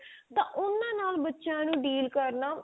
ਤਾਂ ਉਹਨਾਂ ਨਾਲ ਬਚਿਆਂ ਨੂੰ deal ਕਰਨਾ